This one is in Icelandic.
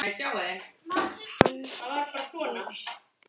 Hann gaus